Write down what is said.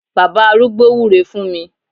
Bàbá arúgbó wúre fún mi